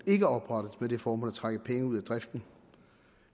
ikke oprettet med det formål at trække penge ud af driften